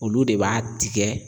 Olu de b'a tigɛ